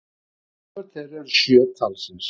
Barnabörn þeirra eru sjö talsins